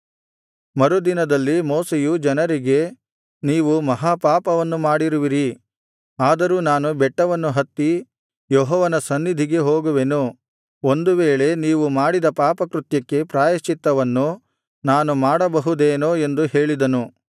ಮರುದಿನದಲ್ಲಿ ಮೋಶೆಯು ಜನರಿಗೆ ನೀವು ಮಹಾ ಪಾಪವನ್ನು ಮಾಡಿರುವಿರಿ ಆದರೂ ನಾನು ಬೆಟ್ಟವನ್ನು ಹತ್ತಿ ಯೆಹೋವನ ಸನ್ನಿಧಿಗೆ ಹೋಗುವೆನು ಒಂದು ವೇಳೆ ನೀವು ಮಾಡಿದ ಪಾಪಕೃತ್ಯಕ್ಕೆ ಪ್ರಾಯಶ್ಚಿತ್ತವನ್ನು ನಾನು ಮಾಡಬಹುದೇನೋ ಎಂದು ಹೇಳಿದನು